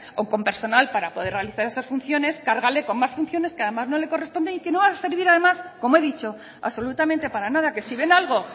o con personal para poder realizar esas funciones cargarle con más funciones que además no le corresponden y que no van a servir además como he dicho absolutamente para nada que si ven algo